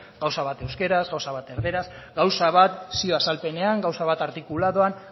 gauza bat euskaraz gauza bat erdaraz gauza bat zio azalpenean gauza bat artikulatuan